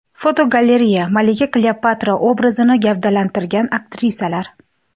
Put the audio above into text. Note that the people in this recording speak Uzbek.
Fotogalereya: Malika Kleopatra obrazini gavdalantirgan aktrisalar.